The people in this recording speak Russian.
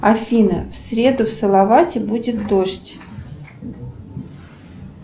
афина в среду в салавате будет дождь